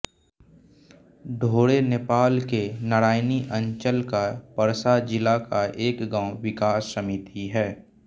ढोरे नेपाल के नारायणी अंचल का पर्सा जिला का एक गांव विकास समिति है